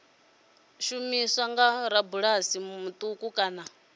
shumiswa nga rabulasi muṱuku kana